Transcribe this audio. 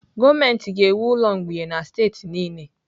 Gọọmenti ga-ewu ụlọ mgbei na steeti niile